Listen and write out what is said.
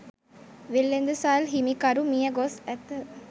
වෙළෙඳසල් හිමිකරු මියගොස් ඇත